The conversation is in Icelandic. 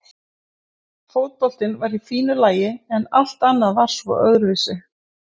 Fótboltinn var í fínu lagi en allt annað var svo öðruvísi.